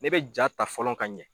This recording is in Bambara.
Ne bɛ jaa ta fɔlɔ ka ɲɛ.